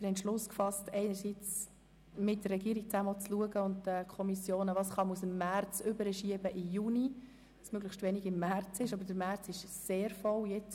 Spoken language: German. Wir haben beschlossen, mit der Regierung und den Kommissionen zu beraten, welche Traktanden wir von der März- auf die Junisession verschieben, da die Märzsession bereits jetzt sehr voll ist.